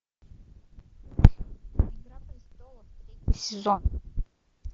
игра престолов третий сезон